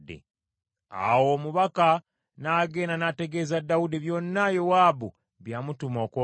Awo omubaka n’agenda n’ategeeza Dawudi byonna Yowaabu bye yamutuma okwogera.